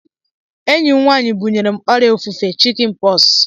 Enyi m nwaanyị bunyere m ọrịa ofufe chikin pọksi